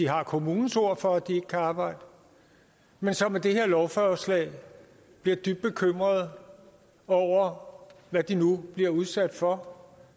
har kommunens ord for at de ikke kan arbejde men som med det her lovforslag bliver dybt bekymrede over hvad de nu bliver udsat for